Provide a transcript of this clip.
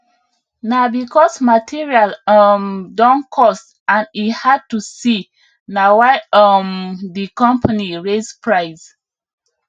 na because material um don cost and e hard to see na why um di company raise price